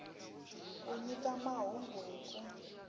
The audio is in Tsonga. ku nyika mahungu hi ku